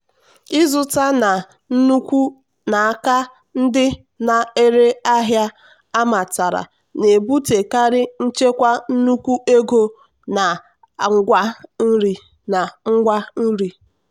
ịzụta na nnukwu n'aka ndị na-ere ahịa amatara na-ebutekarị nchekwa nnukwu ego na ngwa nri.